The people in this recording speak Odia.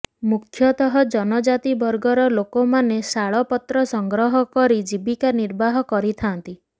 ମୁଖ୍ୟତଃ ଜନଜାତି ବର୍ଗର ଲୋକମାନେ ଶାଳପତ୍ର ସଂଗ୍ରହ କରି ଜୀବିକା ନିର୍ବାହ କରିଥାନ୍ତି